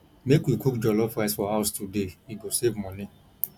make we cook jollof rice for house today e go save money